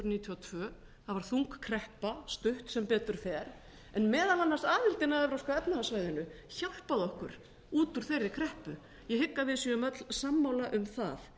níutíu og tvö það varð þung kreppa stutt sem betur fer en meðal annars aðildin að evrópska efnahagssvæðinu hjálpaði okkur út úr þeirri kreppu ég hygg að við séum öll sammála um það